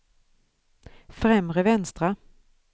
främre vänstra